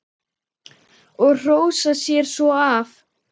Og hrósa sér svo af.